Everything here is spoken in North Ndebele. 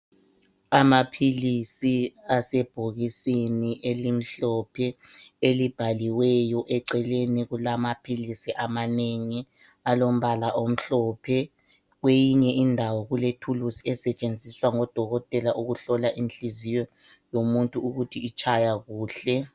Amaphilisi asebhokisini elimhlophe elivaliweyo eceleni kulamaphilisi amanengi alombala omhlophe .Kweyinye indawo kule thulusi esetshenziswa ngodokotela ukuhlola inhliziyo yomuntu ukuthi itshaya kuhle.